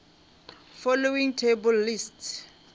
following table lists